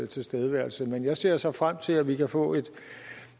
tilstedeværelse men jeg ser så frem til at vi kan få